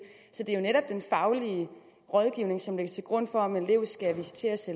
så det er jo netop den faglige rådgivning som lægges til grund for om en elev skal visiteres